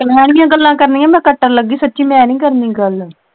ਕਲੈਣੀਆਂ ਗੱਲਾਂ ਕਰਨੀਆਂ ਮੈਂ ਕੱਟਣ ਲੱਗੀ ਸੱਚੀ ਮੈਂ ਨਹੀਂ ਕਰਨੀ ਗੱਲ।